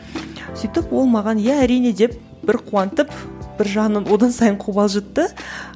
сөйтіп ол маған иә әрине деп бір қуантып бір жағынан одан сайын қобалжытты